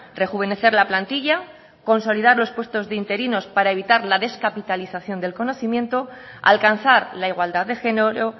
rejuvenecer la plantilla consolidar los puestos de interinos para evitar la descapitalización del conocimiento alcanzar la igualdad de género